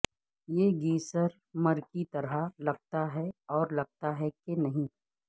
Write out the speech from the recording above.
یہ گیسرمر کی طرح لگتا ہے اور لگتا ہے کہ نہیں